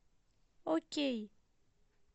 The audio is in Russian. окей